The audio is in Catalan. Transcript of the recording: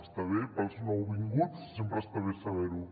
està bé per als nouvinguts sempre està bé saber ho